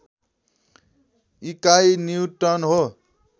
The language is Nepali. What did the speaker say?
इकाइ न्युटन हो